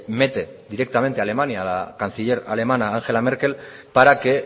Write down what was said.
mete directamente a alemania a la canciller alemana angela merkel para que